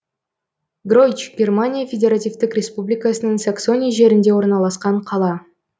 гройч германия федеративтік республикасының саксония жерінде орналасқан қала